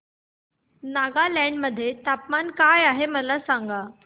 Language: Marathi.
नागालँड मध्ये तापमान काय आहे मला सांगा